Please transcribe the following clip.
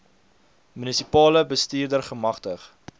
munisipale bestuurder gemagtig